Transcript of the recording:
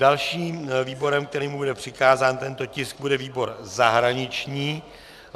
Dalším výborem, kterému bude přikázán tento tisk, bude výbor zahraniční.